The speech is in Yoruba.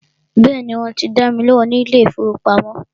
Bẹ́ẹ̀ni, wọ́n ti dá mi lóhùn ní ilé ìfọwọ́pamo.